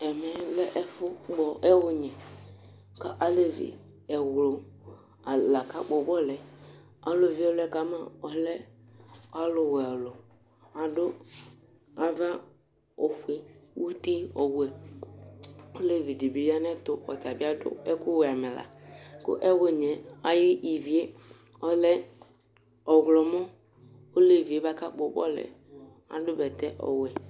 Ɛmɛ lɛ ɛfʋkpɔ ɛwʋnyɛ, kʋ alevi ɛwlʋ la akakpɔ bɔlʋ yɛ Ɔlʋ vɩ ɩlɔ kama ɔlɛ ɔlʋwɛ, adu ava ofue, uti ɔwɛ Olevi di bɩ ya nʋ ayɛtʋ, ɔta bɩ adu ɛkʋwɛ amɛla Kʋ ɛwʋnyɛ yɛ ayʋ ivi yɛ ɔlɛ ɔɣlɔmɔ Olevi yɛ bʋakʋ akpɔ bɔlʋ yɛ adu bɛtɛ ɔwɛ